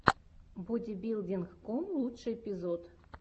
бодибилдинг ком лучший эпизод